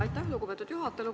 Aitäh, lugupeetud juhataja!